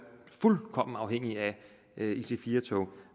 fuldkommen afhængige af ic4 tog